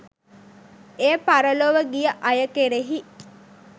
එය පරලොව ගිය අය කෙරෙහි